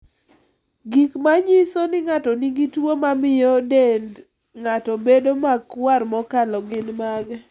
Gik manyiso ni ng'ato nigi tuwo mamio dend ng'ato bedo makwar mokalo gin mage?